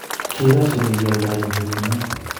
ki Radhid nekiolindenyin betunoee